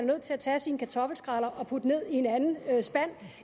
nødt til at tage sine kartoffelskræller og putte dem ned i en anden spand